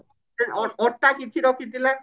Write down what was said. ଅ ଅ ଅଟା କିଛି ରଖିଥିଲା